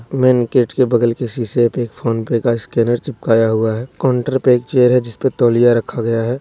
Main gate के बगल के शीशे पे एक फोनपे का स्कैनर चिपकाए हुआ है काउंटर पे एक चेयर है जिसपे तौलिया रखा गया है।